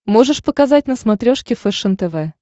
можешь показать на смотрешке фэшен тв